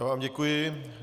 Já vám děkuji.